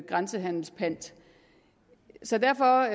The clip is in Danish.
grænsehandelspant så derfor